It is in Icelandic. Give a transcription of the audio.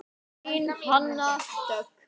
Þín Hanna Dögg.